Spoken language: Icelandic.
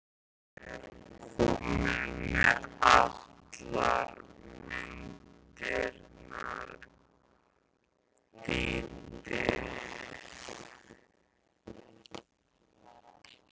Ég er komin með allar myndirnar, Dídí.